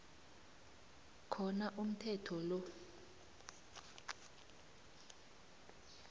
khona umthetho lo